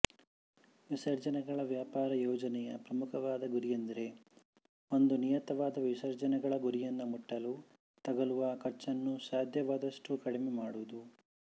ವಿಸರ್ಜನೆಗಳ ವ್ಯಾಪಾರ ಯೋಜನೆಯ ಪ್ರಮುಖವಾದ ಗುರಿಯೆಂದರೆ ಒಂದು ನಿಯತವಾದ ವಿಸರ್ಜನೆಗಳ ಗುರಿಯನ್ನು ಮುಟ್ಟಲು ತಗಲುವ ಖರ್ಚನ್ನು ಸಾಧ್ಯವಾದಷ್ಟೂ ಕಡಿಮೆ ಮಾಡುವುದು